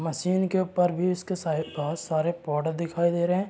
Machine के ऊपर भी उसके सारे बहुत सारे प्रोडक्ट दिखाई दे रहे है।